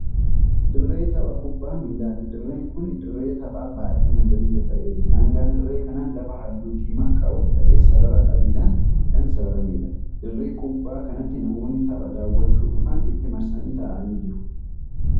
Dirree tapha kuphaa miilaati. dirreen Kuni dirree taphaa baay'ee magariisa ta'eedha. daangaan dirree kanaa lafa halluu diimaa qabu ta'ee sarara adiidhaan Kan sararameedha. dirree kuphaa kanatti namoonni tapha daaw'achuu dhufan itti marsanii taa'anii jiru.